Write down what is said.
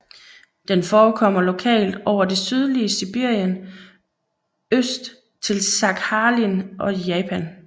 Den forekommer lokalt over det sydlige Sibirien øst til Sakhalin og Japan